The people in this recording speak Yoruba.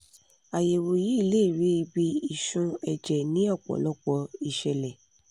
àyẹ̀wò yìí lè rí ibi ìṣun ẹ̀jẹ̀ ní ọ̀pọ̀lọpọ̀ ìṣẹ̀lẹ̀